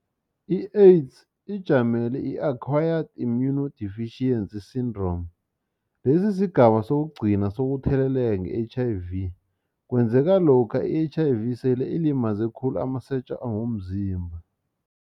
I-AIDS ijamele i-Acquired Immunodeficiency Syndrome lesi sigaba sokugcina sokutheleleka nge-H_I_V kwenzeka lokha i-H_I_V sele ilimaze khulu amasotja womzimba.